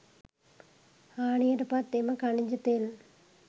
හාණියට පත් එම ඛනිජ තෙල්